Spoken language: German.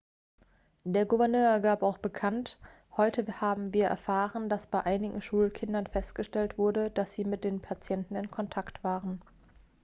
der gouverneur gab auch bekannt heute haben wir erfahren dass bei einigen schulkindern festgestellt wurde dass sie mit dem patienten in kontakt waren